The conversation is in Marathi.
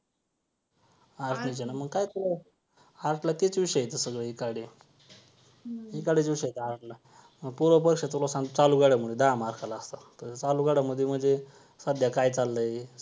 arts ने केलं मग काय तुला art ला तेच विषय आहेत सगळे विषय आहेत art ला पूर्व परीक्षा तुला सांगतो चालू घडामोडी दहा mark ला असतात तर चालू घडामोडी म्हणजे सध्या काय चाललंय.